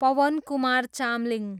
Pawankumar Chamling